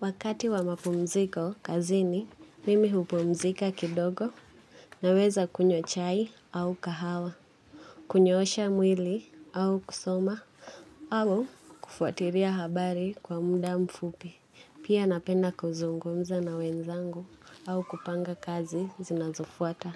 Wakati wa mapumziko kazini, mimi hupumzika kidogo naweza kunywa chai au kahawa. Kunyoosha mwili au kusoma au kufuatilia habari kwa muda mfupi. Pia napenda kuzungumza na wenzangu au kupanga kazi zinazofuata.